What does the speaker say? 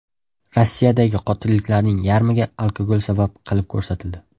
Rossiyadagi qotilliklarning yarmiga alkogol sabab qilib ko‘rsatildi.